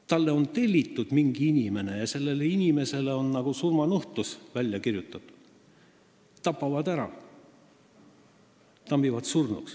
Talt on tellitud lood mingi inimese kohta ja sellele inimesele on nagu surmanuhtlus välja kirjutatud – tapetakse ära, tambitakse surnuks.